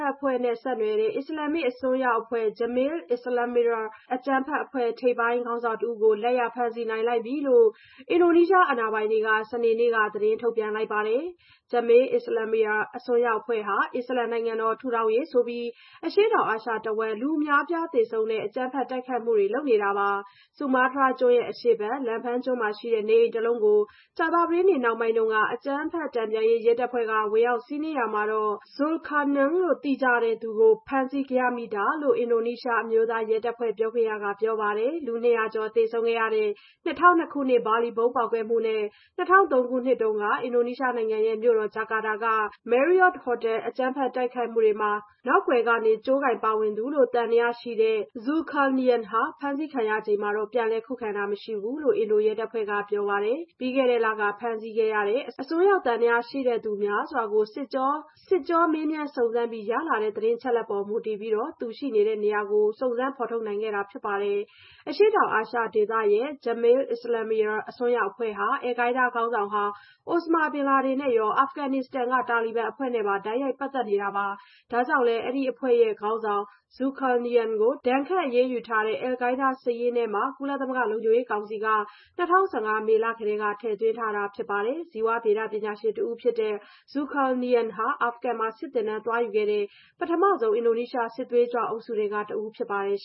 က်အဖွဲ့နဲ့ ဆက်နွှယ်တဲ့ အစ္စလာမ္မစ် အစွန်းရောက်အဖွဲ့ Jemaah Islamiyah အကြမ်းဖက်အဖွဲ့ ထိပ်ပိုင်းခေါင်းဆောင်တဦးကို လက်ရဖမ်းဆီးလိုက်နိုင်ပြီလို့ အင်ဒိုနီးရှား အာဏာပိုင်တွေက စနေနေ့က သတင်းထုတ်ပြန်လိုက်ပါတယ်။ Jemaah Islamiyah အစွန်းရောက်အဖွဲ့ဟာ အစ္စလာမ်နိုင်ငံတော် ထူထောင်ရေးဆိုပြီး အရှေ့တောင်အာရှတဝန်း လူအများအပြားသေဆုံးတဲ့ အကြမ်းဖက်တိုက်ခိုက်မှုတွေ လုပ်ဆောင်နေတာပါ။ ဆူမားတြားကျွန်းအရှေ့ဘက် Lampung ကျွန်းမှာရှိတဲ့ နေအိမ်တလုံးကို ကြာသပတေးနေ့ နှောင်းပိုင်းတုန်းက အကြမ်းဖက်မှု တန်ပြန်ရေး ရဲတပ်ဖွဲ့က ဝင်ရောက်စီးနင်းရာမှာ Zulkarnaen လို့ သိကြတဲ့ Aris Sumarson ကို ဖမ်းဆီးရမိတာဖြစ်တယ်လို့ အင်ဒိုနီးရှားအမျိုးသားရဲတပ်ဖွဲ့ ပြောခွင့်ရသူက ပြောပါတယ်။ လူ ၂၀၀ ကျော် သေဆုံးခဲ့ရတဲ့ ၂၀၀၂ ခုနှစ် ဘာလီဗုံးပေါက်ကွဲမှုနဲ့ ၂၀၀၃ ခုနှစ်က အင်ဒိုနီးရှားနိုင်ငံမြို့တော် ဂျကာတာက Marriott Hotel အကြမ်းဖက်တိုက်ခိုက်မှုတွေမှာ နောက်ကွယ်က ကြိုးကိုင်ပါဝင်သူလို့ သံသယရှိခဲ့တဲ့ Zulkarnaen ဟာ ဖမ်းဆီးခံရစဉ် ပြန်လည်ခုခံတာမျိုး မရှိခဲ့ဘူးလို့ အင်ဒိုရဲတပ်ဖွဲ့က ပြောပါတယ်။ ပြီးခဲ့တဲ့လက ဖမ်းဆီးခဲ့တဲ့ အစွန်းရောက်သံသယရှိသူတွေ များစွာကို စစ်ကြောမေးမြန်း စစ်ဆေးပြီး ရလာတဲ့ သတင်းအချက်အလက်ပေါ် မူတည်ပြီး Zulkarnaen ရဲ့နေရာကို စုံစမ်းဖော်ထုတ်နိုင်ခဲ့တာ ဖြစ်ပါတယ်။ အရှေ့တောင်အာရှဒေသရဲ့ Jemaah Islamiyah အစွန်းရောက်အဖွဲ့ဟာ Al-Qaida ခေါင်းဆောင်ဟောင်း အိုစမာဘင်လာဒင်နဲ့ရော အာဖဂနစ္စတန်က တာလီဘန်အဖွဲ့နဲ့ပါ တိုက်ရိုက်ပတ်သက်မှုတွေ ရှိတာပါ။ ဒါကြောင့်လည်း ဒီအဖွဲ့ခေါင်းဆောင် Zulkarnaen ကို ဒဏ်ခတ်အရေးယူထားတဲ့ Al-Qaida စာရင်းထဲ ကုလသမဂ္ဂ လုံခြုံရေးကောင်စီကနေ ၂၀၀၅ မေလကတည်းက ထည့်သွင်းထားပါတယ်။ ဇီဝဗေဒပညာရှင်တဦးဖြစ်တဲ့ Zulkarnaen ဟာ အာဖဂန်မှာ စစ်သင်တန်းသွားယူခဲ့တဲ့ ပထမဦးဆုံး အင်ဒိုနီးရှား စစ်သွေးကြွအုပ်စုထဲက တဦးဖြစ်ပါတယ်။